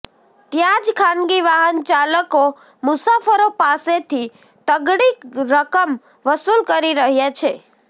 ત્યાં જ ખાનગી વાહન ચાલકો મુસાફરો પાસેથી તગડી રકમ વસૂલ કરી રહ્યા છે